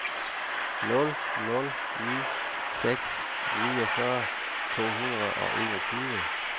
nul nul ni seks niogfyrre to hundrede og enogtyve